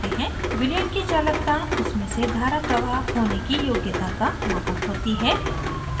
विलयन की चालकता उसमें से धारा प्रवाह होने की योगयता का मापक होती है